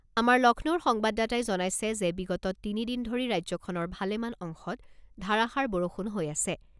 আমাৰ লক্ষ্ণৌৰ সংবাদদাতাই জনাইছে যে বিগত তিনি দিন ধৰি ৰাজ্যখনৰ ভালেমান অংশত ধাৰাষাৰ বৰষুণ হৈ আছে।